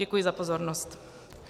Děkuji za pozornost.